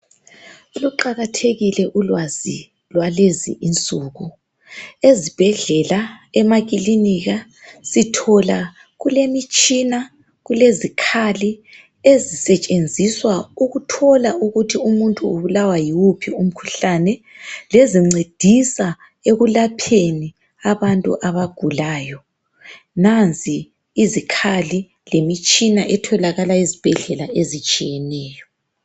Luqakathekile ulwazi lwalezi insuku. Ezibhedlela, emakilinika sithola kulemitshina, kulezikhali ezisetshenziswa ukuthola ukuthi umuntu ubulawa yiwuphi umkhuhlane, lezincedisa ekulapheni abantu abagulayo. Nanzi izikhali lemitshina etholakala ezibhedlela ezitshiyeneyo.